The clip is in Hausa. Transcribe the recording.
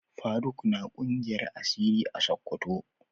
Faruq na kungiyar asiri a sokoto